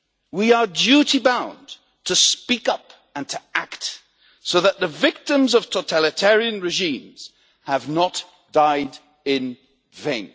We are duty bound to speak up and to act so that the victims of totalitarian regimes have not died in vain.